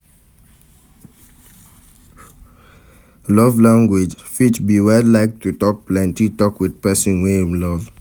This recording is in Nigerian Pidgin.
Love language fit be when like to talk plenty talk with persin wey im love